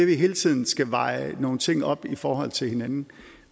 vi hele tiden skal veje nogle ting op i forhold til hinanden